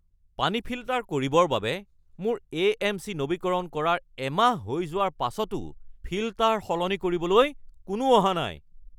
পানী ফিল্টাৰ কৰিবৰ বাবে মোৰ এ.এম.চি. নৱীকৰণ কৰাৰ এমাহ হৈ যোৱাৰ পাছতো ফিল্টাৰ সলনি কৰিবলৈ কোনো অহা নাই (গ্ৰাহক)